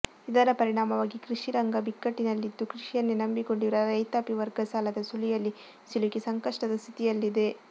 ಇದರ ಪರಿಣಾಮವಾಗಿ ಕೃಷಿ ರಂಗ ಬಿಕ್ಕಟ್ಟಿನಲ್ಲಿದ್ದು ಕೃಷಿಯನ್ನೇ ನಂಬಿಕೊಂಡಿರುವ ರೈತಾಪಿ ವರ್ಗ ಸಾಲದ ಸುಳಿಯಲ್ಲಿ ಸಿಲುಕಿ ಸಂಕಷ್ಟದ ಸ್ಥಿತಿಯಲ್ಲಿದೆ